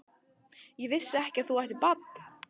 Ég vissi ekki að þú ættir barn?